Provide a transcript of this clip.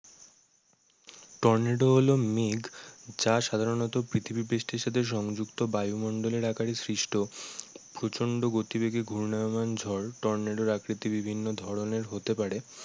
Tornado হলো মেঘ যা সাধারণত পৃথিবী পৃষ্টের সাথে সংযুক্ত বায়ু মণ্ডলের আকারে সৃষ্ট প্রচন্ড গতিবেগে ঘূর্ণয়মান ঝড় টর্নেডোর আকৃতি বিভিন্ন ধরণের হতে পারে।